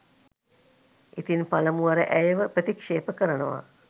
ඉතින් පලමුවර ඇයව ප්‍රතික්ෂේප කරනවා.